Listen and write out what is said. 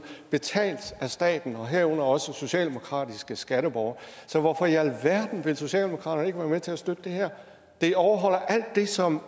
betalt af staten og herunder også socialdemokratiske skatteborgere så hvorfor i alverden vil socialdemokratiet ikke være med til at støtte det her det overholder alt det som